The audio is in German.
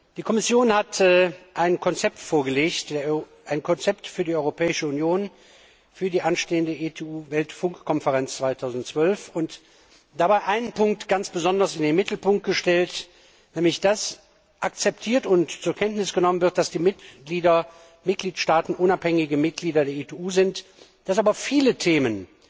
Die Kommission hat ein Konzept für die Europäische Union für die anstehende ITU Weltfunkkonferenz 2012 vorgelegt und dabei einen Punkt ganz besonders in den Mittelpunkt gestellt, nämlich dass akzeptiert und zur Kenntnis genommen wird, dass die Mitgliedstaaten unabhängige Mitglieder der ITU sind, dass aber viele Themen